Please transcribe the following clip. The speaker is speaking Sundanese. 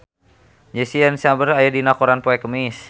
Jesse Eisenberg aya dina koran poe Kemis